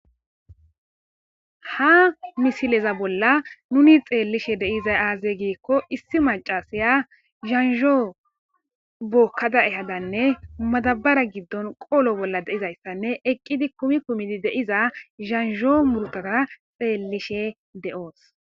ha misileza bolla nuni xeellishe de'iza aaze giikko issi macasaya zanzhoo bokkada ehadanne madabara giddon qoolo bolla de'izayssanne eqqidi kumi kumidi de'iza zanzhoo murtata xeellishe de'oos